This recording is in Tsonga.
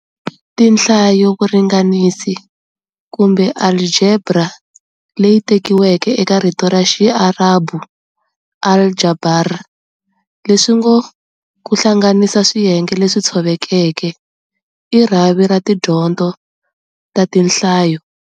Tinhlayovuringanisi, kumbe Alijebra ley tekiweke eka rito ra Xiarabhu "al-jabr" leswingo"Kuhlanganiso swiyenge leswi tshovekeke", i rhavi ra tidyondzo ta Tinhlayo.